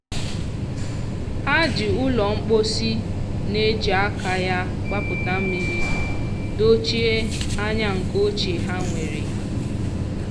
ha ji ụlọ mposi na-eji aka ya gbapụta mmiri dochie anya nke ochie ha nwere.